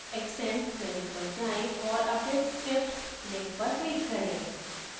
extend menu पर जाएँ और update script link पर click करें